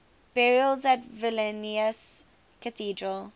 burials at vilnius cathedral